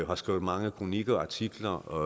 har skrevet mange kronikker og artikler om